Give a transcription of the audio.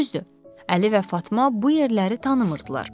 Düzdür, Əli və Fatma bu yerləri tanımırdılar.